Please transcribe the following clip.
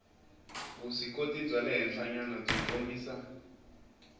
vuswikoti bya le henhlanyanabyi kombisa